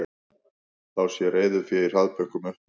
Þá sé reiðufé í hraðbönkum uppurið